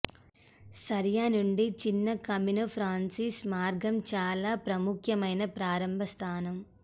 సారియా నుండి చిన్న Camino Frances మార్గం చాలా ప్రాముఖ్యమైన ప్రారంభ స్థానం